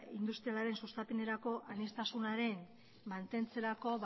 industrialaren sustapenerako aniztasunaren mantentzerako